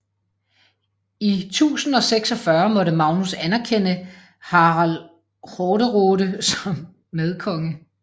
I 1046 måtte Magnus anerkende Harald Hårderåde som medkonge